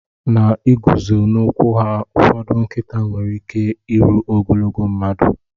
N'ịguzo n'ụkwụ ha, ụfọdụ nkịta nwere ike iru ogologo mmadụ.